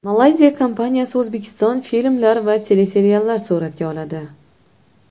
Malayziya kompaniyasi O‘zbekiston filmlar va teleseriallar suratga oladi.